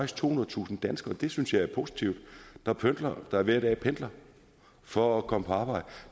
tohundredetusind danskere og det synes jeg er positivt der hver dag pendler for at komme på arbejde